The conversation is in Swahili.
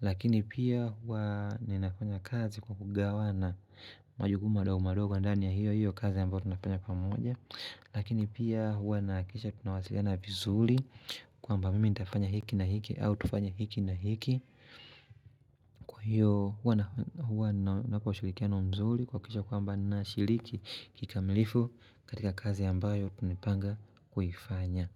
lakini pia huwa ninafanya kazi kwa kugawana majukumu madogomadogo ndani ya hiyo hiyo kazi ambayo tunafanya pamoja lakini pia huwa nahakikisha tunawasiliana vizuli kwa mba mimi nitafanya hiki na hiki au tufanya hiki na hiki kwa hiyo huwa huwa nawapa ushirikiano mzuli kuakikisha kwa mba nashiriki kikamilifu katika kazi ambayo tunipanga kuhifanya.